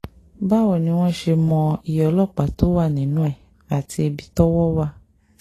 báwo ni wọ́n ṣe mọ iye ọlọ́pàá tó wà nínú ẹ̀ àti ibi tọ́wọ́ wà